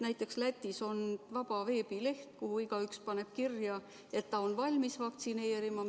Näiteks Lätis on veebileht, kuhu igaüks paneb kirja, et ta on valmis vaktsineerima.